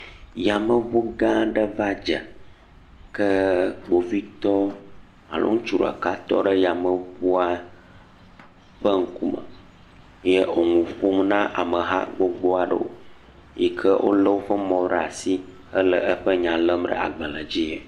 Yameŋu gã aɖe va dze ke kpovitɔ alo ŋutsu ɖeka tɔ ɖe yameŋua ƒe ŋkume eye wo nu ƒom na amehã gbogbo aɖewo yi ke wolé woƒe mɔ ɖe asi hele eƒe nya lém ɖe agbalẽ dzi.